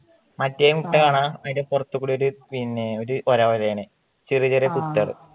മറ്റേ മുട്ട കാണാ അതിന്റെ പൊറത്തു കൂടി ഒരു വര വരെയാണ് ചെറിയ ചെറിയ കുത്തുകള്